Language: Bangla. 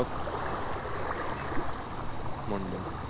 মন্ডল